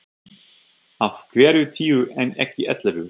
Af hverju tíu en ekki ellefu?